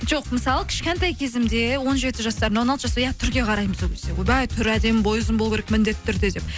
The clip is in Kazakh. жоқ мысалы кішкентай кезімде он жеті жасар он алты жас иә түрге қараймыз ол кезде ойбай түрі әдемі бойы ұзын болу керек міндетті түрде деп